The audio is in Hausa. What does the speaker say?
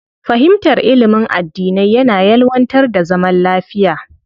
Fahimtar ilimin addinai yana ƴelwantar da zaman lafiya.